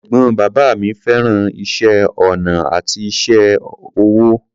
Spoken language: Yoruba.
Ẹ̀gbọ́n bàbá mi fẹ́ràn iṣẹ́ ọnà àti iṣẹ́ ọwọ́.